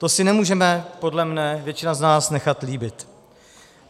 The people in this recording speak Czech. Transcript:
To si nemůže podle mne většina z nás nechat líbit.